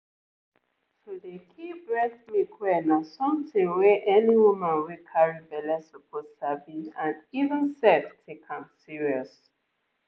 to dey keep breast milk well na something wey any woman wey carry belle suppose sabi and even sef take am serious.